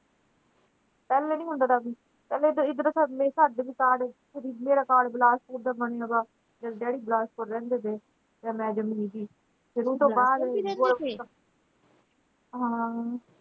ਪਹਿਲੇ ਨਹੀਂ ਹੁੰਦਾ ਦਾ ਸੀ ਪਹਿਲੇ ਤਾਂ ਏਧਰ ਜਦੋਂ ਮੈਂ ਜੰਮੀ ਸੀ ਹਾਂ।